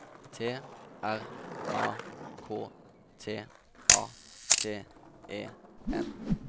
T R A K T A T E N